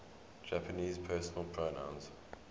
japanese personal pronouns